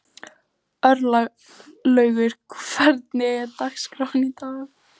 Örlaugur, hvernig er dagskráin í dag?